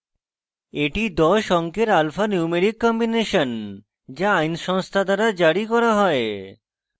এটি 10 অঙ্কের alphanumeric combination যা আইন সংস্থা দ্বারা জারি করা হয়